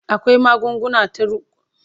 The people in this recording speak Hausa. akwai magunguna ta kwaya, ta ruwa da Kuma na allura